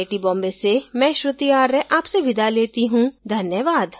यह स्क्रिप्ट बिंदु पांडे द्वारा अनुवादित है आईआईटी बॉम्बे की ओर से मैं श्रुति आर्य अब आपसे विदा लेती हूँ धन्यवाद